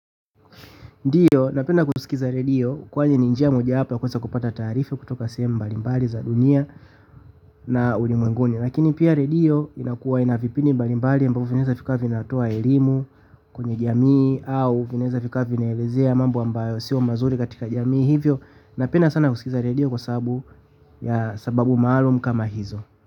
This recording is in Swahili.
Ndiyo, napenda kusikiliza redio kwani ni njia moja hapa kwenye kupata taarifa kutoka sehemu mbalimbali za dunia na ulimwenguni. Lakini pia redio inakuwa ina vipindi mbalimbali ambavyo vinaweza kufikia na kutoa elimu kwenye jamii au vinaweza vikawa vinaelezea mambo ambayo si mazuri katika jamii hivyo. Napenda sana kusikiza radio kwa sababu ya sababu maalumu kama hizo.